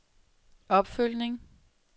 opfølgning